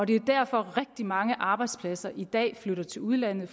det er derfor at rigtig mange arbejdspladser i dag flytter til udlandet